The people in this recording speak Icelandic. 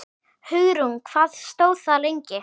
Hugrún: Hvað stóð það lengi?